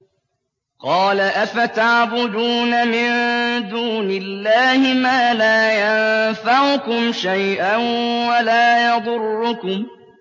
قَالَ أَفَتَعْبُدُونَ مِن دُونِ اللَّهِ مَا لَا يَنفَعُكُمْ شَيْئًا وَلَا يَضُرُّكُمْ